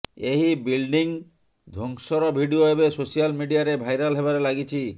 ଏହି ବିଲ୍ଡିଂ ଧ୍ୱଂସର ଭିଡିଓ ଏବେ ସୋଶାଲ ମିଡିଆରେ ଭାଇରାଲ ହେବାରେ ଲାଗିଛି